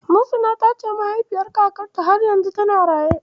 Muhsina ta ce mahaifin kakanta har yanzu yana nan a raye.